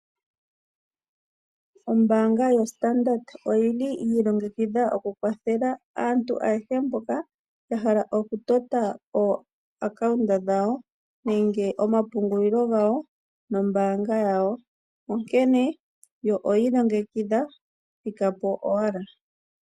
Ombaanga yo standard Bank oyili yi i longekidha oku kwathele aantu mboka ayehe ya hala okutota omapandja gomapungililo gawo nombaanga yawo. Onkene yo oyeli ya i longekidha thika po owala.